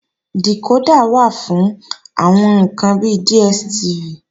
Dìkódà wà fún wíwo àwọn ǹkan bi DSTV